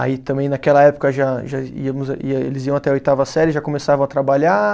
Aí também naquela época já já íamos, ia eles iam até a oitava série, já começavam a trabalhar.